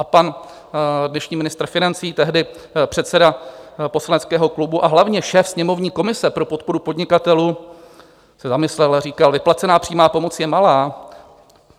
A pan dnešní ministr financí, tehdy předseda poslaneckého klubu a hlavně šéf sněmovní komise pro podporu podnikatelů, se zamyslel a říkal: "Vyplacená přímá pomoc je malá.